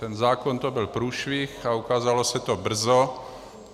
Ten zákon, to byl průšvih a ukázalo se to brzo.